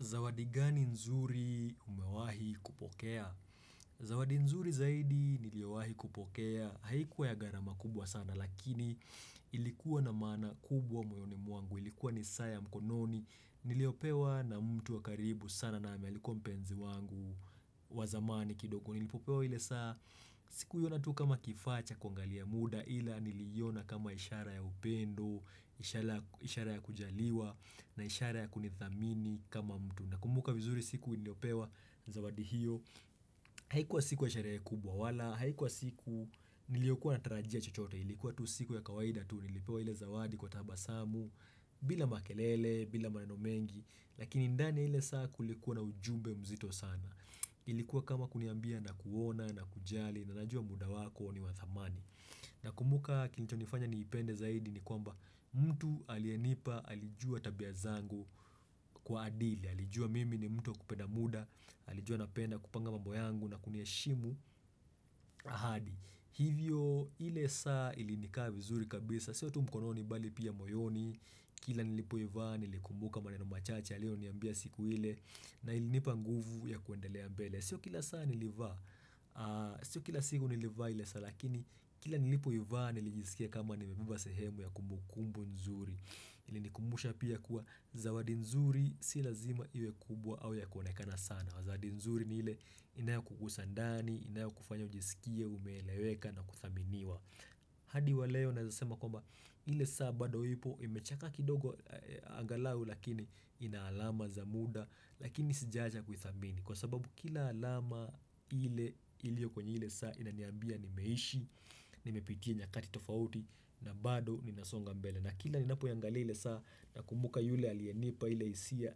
Zawadi gani nzuri umewahi kupokea? Zawadi nzuri zaidi niliowahi kupokea haikuwa ya gharama kubwa sana lakini ilikuwa na maana kubwa moyoni mwangu ilikuwa ni saa ya mkononi niliopewa na mtu wa karibu sana na alikuwa mpenzi wangu wa zamani kidogo nilipopewa ile saa sikuiona tu kama kifaa cha kuangalia muda ila niliona kama ishara ya upendo, ishara ya kujaliwa na ishara ya kunithamini kama mtu. Nakumbuka vizuri siku niliopewa zawadi hiyo. Haikuwa siku ya sherehe kubwa wala. Haikuwa siku niliokuwa natarajia chochote. Ilikuwa tu siku ya kawaida tu. Nilipewa ile zawadi kwa tabasamu bila makelele, bila maneno mengi. Lakini ndani ya ile saa kulikuwa na ujumbe mzito sana. Ilikuwa kama kuniambia nakuona nakujali na najua muda wako ni wa thamani. Nakumbuka kilichonifanya niipende zaidi ni kwamba mtu aliyenipa, alijua tabia zangu kwa adili alijua mimi ni mtu wa kupenda muda alijua napenda kupanga mambo yangu na kunieshimu ahadi hivyo ile saa ilinikaa vizuri kabisa, sio tu mkononi bali pia moyoni, kila nilipoivaa, nilikumbuka maneno machache alioniambia siku ile, na ilinipa nguvu ya kuendelea mbele, sio kila saa nilivaa, sio kila siku nilivaa ile saa, lakini kila nilipoivaa nilijisikia kama nimebeba sehemu ya kumbukumbu nzuri ilinikumbusha pia kuwa Zawadi nzuri si lazima iwe kubwa au ya kuonekana sana zawadi nzuri ni ile inayokugusa ndani, inayokufanya ujisikie umeeleweka na kuthaminiwa hadi wa leo naeza sema kwamba ile saa bado ipo imechakaa kidogo angalau lakini ina alama za muda Lakini sijaacha kuithamini kwa sababu kila alama ile ilio kwenye ile saa inaniambia nimeishi Nimepitia nyakati tofauti na bado ninasonga mbele na kila ninapoiangalia ile saa nakumbuka yule alienipa ile hisia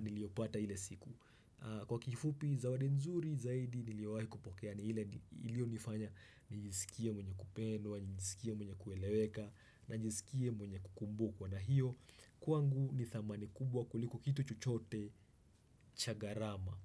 niliopata ile siku Kwa kifupi zawadi nzuri zaidi niliowahi kupokea ni ile ilionifanya nijisikie mwenye kupendwa nijisikie mwenye kueleweka na nijisikie mwenye kukumbukwa na hiyo Kwangu ni thamani kubwa kuliko kitu chochote cha gharama.